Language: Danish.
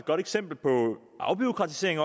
godt eksempel på afbureaukratisering